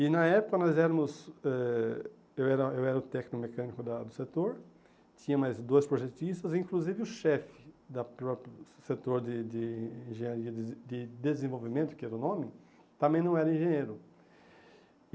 E na época nós éramos... eh eu era eu era o técnico mecânico da do setor, tinha mais dois projetistas, inclusive o chefe da própria setor de de engenharia de desenvolvimento, que era o nome, também não era engenheiro.